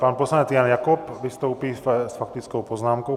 Pan poslanec Jan Jakob vystoupí s faktickou poznámkou.